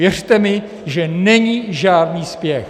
Věřte mi, že není žádný spěch.